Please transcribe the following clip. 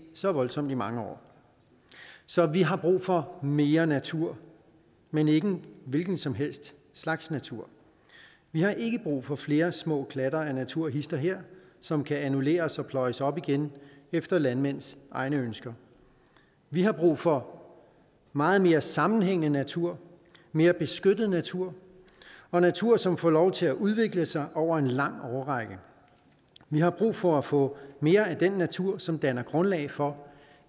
så voldsomt i mange år så vi har brug for mere natur men ikke en hvilken som helst slags natur vi har ikke brug for flere små klatter af natur hist og her som kan annulleres og pløjes op igen efter landmænds egne ønsker vi har brug for meget mere sammenhængende natur mere beskyttet natur og natur som får lov til at udvikle sig over en lang årrække vi har brug for at få mere af den natur som danner grundlag for